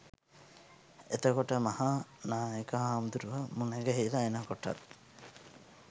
එතකොට මහා නායක හාමුදුරුවො මුණගැහිල එනකොටත්